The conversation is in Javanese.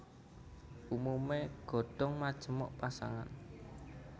Umumé godhong majemuk pasangan